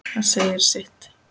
Það segir sitt.